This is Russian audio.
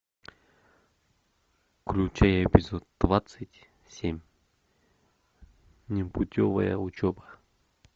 включи эпизод двадцать семь непутевая учеба